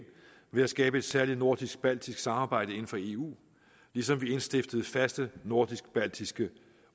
ved at skabe et særligt nordisk baltisk samarbejde inden for eu ligesom vi indstiftede faste nordisk baltiske